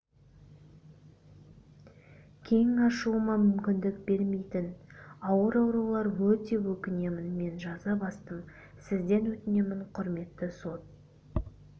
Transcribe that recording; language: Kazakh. кең ашуыма мүмкіндік бермейтін ауыр аурулар өте өкінемін мен жаза бастым сізден өтінемін құрметті сот